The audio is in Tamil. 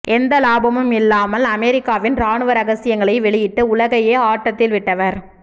எந்த லாபமும் இல்லாமல் அமெரிக்காவின் ராணுவ ரகசியங்களை வெளியிட்டு உலகையே ஆட்டத்தில் விட்டவர்